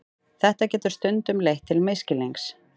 Þetta getur stundum leitt til misskilnings.